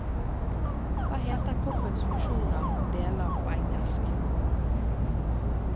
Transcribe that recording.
Hva heter kroppens funksjoner og deler på engelsk.